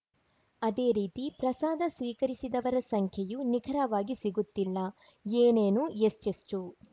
ಅದೇ ರೀತಿ ಪ್ರಸಾದ ಸ್ವೀಕರಿಸಿದವರ ಸಂಖ್ಯೆಯೂ ನಿಖರವಾಗಿ ಸಿಗುತ್ತಿಲ್ಲ ಏನೇನು ಎಷ್ಟೆಷ್ಟು